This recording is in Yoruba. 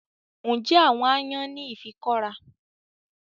Ǹjẹ́ àwọn aáyán ní ìfikọ́ra